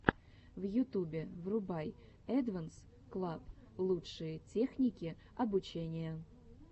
в ютубе врубай эдванс клаб лучшие техники обучения